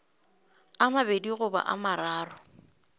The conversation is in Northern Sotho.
a mabedi goba a mararo